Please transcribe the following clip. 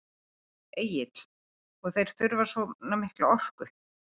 Egill: Og þeir þurfa svona mikla orku?